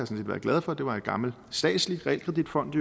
set været glad for det var i gammel statslig realkreditfond